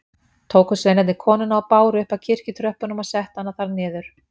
Tóku sveinarnir konuna og báru upp að kirkjutröppunum og settu hana þar niður.